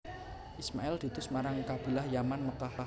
Ismail diutus marang marang Kabilah Yaman Mekkah